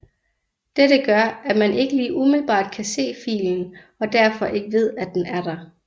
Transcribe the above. Dette gør at man ikke lige umiddelbart kan se filen og derfor ikke ved den er der